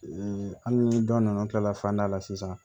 hali ni dɔ nana an tilala fanda la sisan